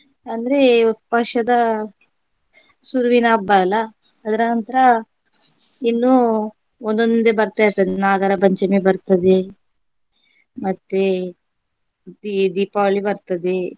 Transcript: ಅಂದ್ರೆ ವರ್ಷದ ಶುರುವಿನ ಹಬ್ಬ ಅಲಾ ಅದ್ರ ನಂತರ ಇನ್ನು ಒಂದೊಂದೇ ಬರ್ತಾ ಇರ್ತದೆ. ನಾಗರಪಂಚಮಿ ಬರ್ತದೆ ಮತ್ತೆ ದಿ~ ದೀಪಾವಳಿ ಬರ್ತದೆ